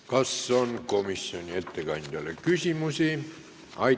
Kas komisjoni ettekandjale on küsimusi?